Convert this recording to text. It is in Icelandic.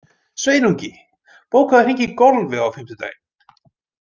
Sveinungi, bókaðu hring í golf á fimmtudaginn.